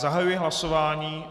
Zahajuji hlasování...